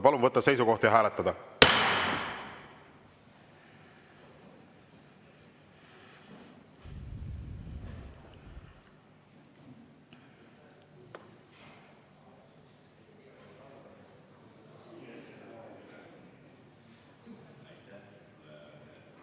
Palun võtta seisukoht ja hääletada!